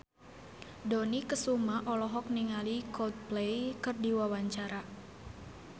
Dony Kesuma olohok ningali Coldplay keur diwawancara